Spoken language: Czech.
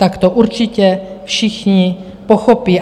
Tak to určitě všichni pochopí.